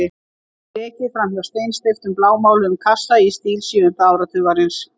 Fyrst er ekið fram hjá steinsteyptum blámáluðum kassa í stíl sjöunda áratugarins.